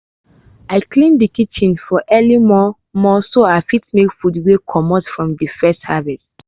i clean de kitchen for early mor-mor so i fit make food wey comot from de first harvest